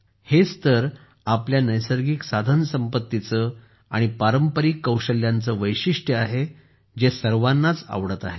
हीच तर आपल्या नैसर्गिक साधनसंपत्तीची आणि पारंपारिक कौशल्यांचे वैशिष्ट्य आहे जे सर्वांनाच आवडत आहे